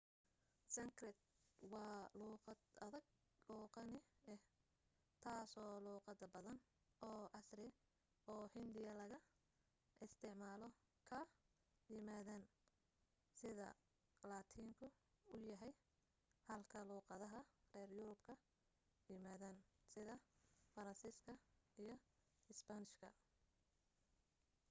sankrit waa luuqad adag oo qani ah taasoo luuqada badan oo casri oo hindiya laga isticmaalo ka yimaadeen sida laatiinku u yahay halka luuqadaha reer yurub ka yimaadeen sida faransiiska iyo isbaanishka